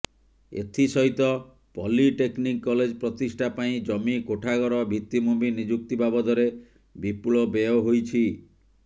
ଏଥିସହିତ polytechnic college ପ୍ରତିଷ୍ଠା ପାଇଁ ଜମି କୋଠାଘର ଭିତ୍ତିଭୂମି ନିଯୁକ୍ତି ବାବଦରେ ବିପୁଳ ବ୍ୟୟ ହୋଇଛି